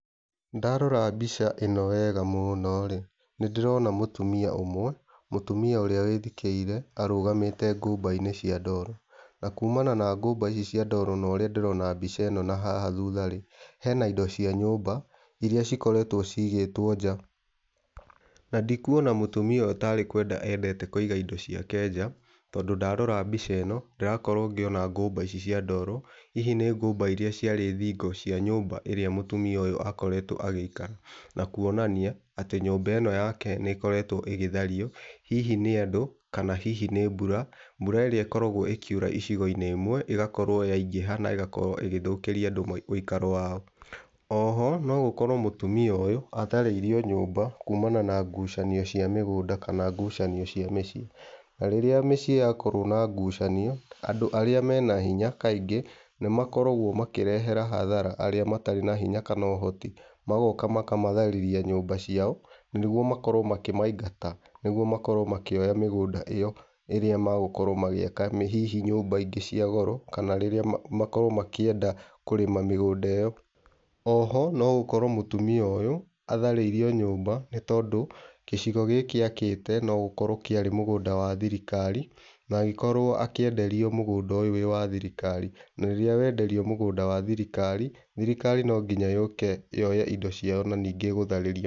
Ndorora mbica ĩni wega mũno-rĩ, nĩ ndĩrona mũtumia ũmwe , mũtumia ũrĩa wĩthikĩire arũgamĩte ngũmba-inĩ cia ndoro na kumana na ngũmba ici cia ndoro na ũrĩa ndĩrona mbica ĩno na haha thutha-rĩ, hena indocia nyũmba iria cikoretwo cigĩtwo nja na ndikuona mũtumia ũyũ tarĩ kwenda endete kũiga indo ciake nja tondũ ndarora mbica ĩno ndĩrona ona ngũmba ici cia ndoro hihi nĩ ngũmba cia thingo iria ciarĩ cia nyũmba ĩrĩa mũtumia ũyũ akoretwo agĩikara na kuonania atĩ nyũmba ĩno yake nĩ ĩkoretwo ĩgĩthario hihi nĩ andũ kana hihi nĩ mbura, mbura ĩrĩa ĩkoragwo ĩkiura icigo-inĩ imwe ĩgakorwo yaingĩha na ĩgakorwo ĩgĩthũkĩria andũ ũikaro wao. Oho no gũkorwo mũtumia ũyũ atharĩirio nyũmba kumana na ngucanio cia mĩgũnda kana kumania na ngucanio cia mĩciĩ na rĩrĩa mĩciĩ yakorwo na ngucanio andũ arĩa mena hinya kaingĩ nĩ makoragwo makĩrehera hathara arĩa matarĩ na hinya kana ũhoti. Magoka makamatharĩria nyũmba ciao nĩguo makorwo makĩmaigata nĩguo makorwo makĩoa mĩgũnda ĩo ĩrĩa megũkorwo magĩaka hihi nyũmba ingĩ cia goro kana makorwo makĩenda kũrrĩma mĩgũnda ĩo. Oho no gũkorwo mũtumia ũyũ atahrĩirio nyũmba nĩ tondũ gĩcigo gĩkĩ akĩte no gũkorwo kĩarĩ mũgũnda wa thirikari na agĩkorwo akĩenderio mũgũnda ũyũ wĩ wa thirikari na rĩrĩa wenderio mũgũnda wa thirikari, thirikari no nginya yũke yoe indo cio na ningĩ ĩgũtharĩrie.